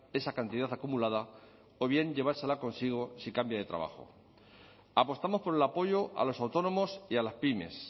esa cantidad acumulada o bien llevársela consigo si cambia de trabajo apostamos por el apoyo a los autónomos y a las pymes